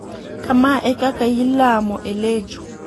Kama e kaka ilamo e Lejo.